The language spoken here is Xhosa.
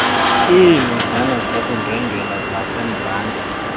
iincwadana zokundwendwela zasemzantsi